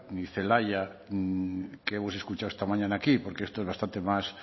ni celaya que hemos escuchado esta mañana aquí porque esto es bastante más